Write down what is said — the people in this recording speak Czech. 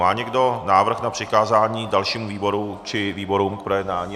Má někdo návrh na přikázání dalšímu výboru či výborům k projednání?